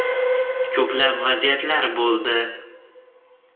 Ko‘plab vaziyatlar bo‘ldi.